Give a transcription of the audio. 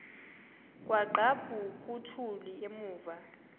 kwaqhaphuk uthuli evuma